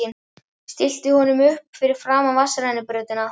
Stillti honum upp fyrir framan vatnsrennibrautina.